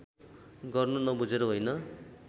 गर्नु नबुझेर होइन